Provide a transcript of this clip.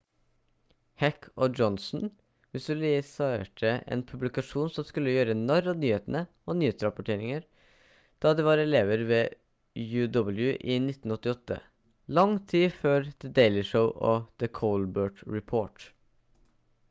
heck og johnson visualiserte en publikasjon som skulle gjøre narr av nyhetene og nyhetsrapporteringer da de var elever ved uw i 1988 lang tid før the daily show og the colbert report